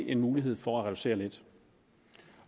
en mulighed for at reducere lidt